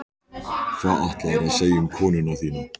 Hvað ætlaðirðu að segja um konuna þína?